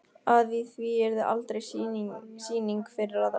Að í því yrði aldrei sýning fyrir aðra.